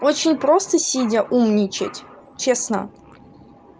очень просто сидя умничать честно